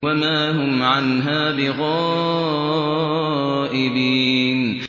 وَمَا هُمْ عَنْهَا بِغَائِبِينَ